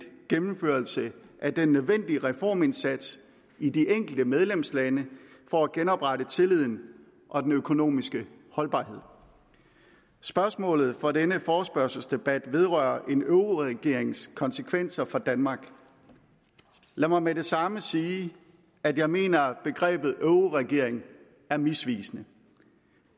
gennemførelse af den nødvendige reformindsats i de enkelte medlemslande for at genoprette tilliden og den økonomiske holdbarhed spørgsmålet for denne forespørgselsdebat vedrører en euroregerings konsekvenser for danmark lad mig med det samme sige at jeg mener at begrebet euroregering er misvisende